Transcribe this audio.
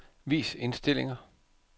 Vis indstillinger.